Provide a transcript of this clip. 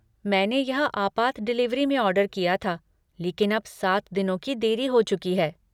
मैंने यह आपात डिलिवरी में ऑर्डर किया था लेकिन अब सात दिनों की देरी हो चुकी है।